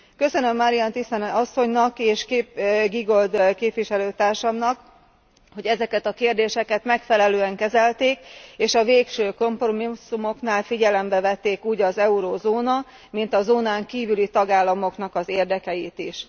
Köszönöm Marianne Thyssen asszonynak és Giegold képviselőtársamnak, hogy ezeket a kérdéseket megfelelően kezelték, és a végső kompromisszumoknál figyelembe vették úgy az eurózóna, mind a zónán kívüli tagállamoknak az érdekeit is.